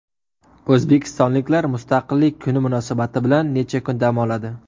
O‘zbekistonliklar Mustaqillik kuni munosabati bilan necha kun dam oladi?.